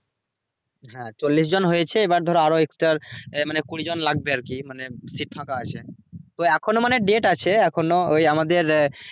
হ্যাঁ চল্লিশ জন হয়েছে এবার ধরো আরো extra এ মানে কুড়ি জন লাগবে আর কি মানে seat ফাঁকা আছে তো এখনো মানে date আছে এখনো ওই আমাদের